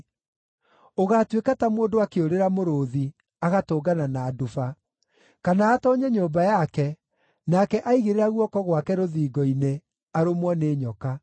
Ũgaatuĩka ta mũndũ akĩũrĩra mũrũũthi, agatũngana na nduba, kana atoonye nyũmba yake, nake aigĩrĩra guoko gwake rũthingo-inĩ, arũmwo nĩ nyoka.